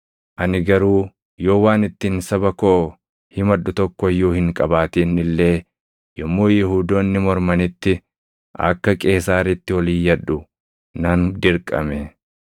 Ani garuu yoo waan ittiin saba koo himadhu tokko iyyuu hin qabaatin illee yommuu Yihuudoonni mormanitti akka Qeesaaritti ol iyyadhu nan dirqame.